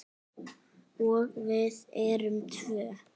Og við erum tvö.